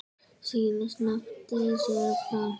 Síðast nefndi séra Frank